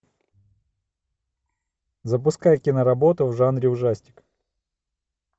запускай киноработу в жанре ужастик